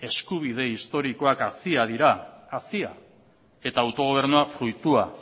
eskubide historikoak haziak dira eta autogobernua fruitua